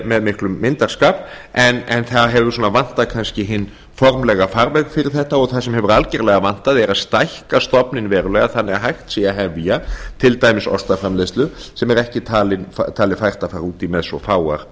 með miklum myndarskap en það hefur vantað kannski hinn formlega fagmann fyrir þetta og það sem hefur algerlega vantað er að stækka stofninn verulega þannig að hægt sé að hefja til dæmis ostaframleiðslu sem ekki er talið fært að fara út í með svo fáar